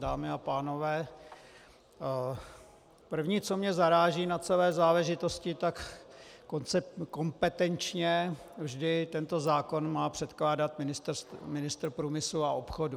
Dámy a pánové, první, co mě zaráží na celé záležitosti, tak kompetenčně vždy tento zákon má předkládat ministr průmyslu a obchodu.